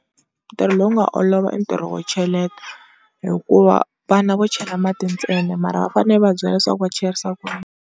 Ntirho lowu nga olova i ntirho wo cheleta, hikuva vana vo chela mati ntsena mara va fanele u va byela leswaku va cherisa ku yini.